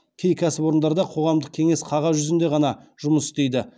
кей кәсіпорындарда қоғамдық кеңес қағаз жүзінде ғана жұмыс істейді